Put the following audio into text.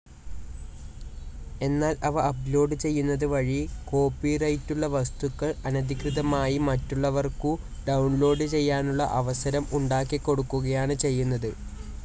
എന്നാൽ ഇവ അപ്ലോഡ്‌ ചെയ്യുന്നതു വഴി കോപ്പിറൈറ്റുള്ള വസ്തുക്കൾ അനധികൃതമായി മറ്റുള്ളവർക്കു ഡൌൺലോഡ്‌ ചെയ്യാനുള്ള അവസരം ഉണ്ടാക്കിക്കൊടുക്കുകയാണ് ചെയ്യുന്നത്.